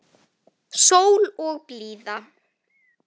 Sól og blíða.